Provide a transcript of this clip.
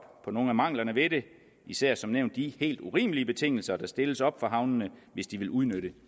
på nogle af manglerne ved det især som nævnt de helt urimelige betingelser der stilles op for havnene hvis de vil udnytte